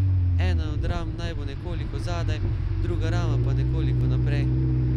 Ena od ram naj bo nekoliko zadaj, druga rama pa nekoliko naprej.